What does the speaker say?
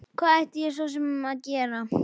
Hvað ætti ég svo sem að gera?